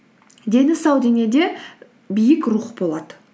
дені сау денеде биік рух болады